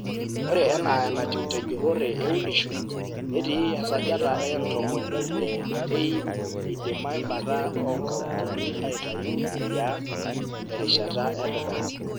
Ore enaa enatiu te jurrore eunisho netii esajata e ntomoni ile te iip eidima embata oo nkauntini aaitayu e riaa te rishata e dukuya.